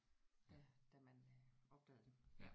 Da da man øh opdagede det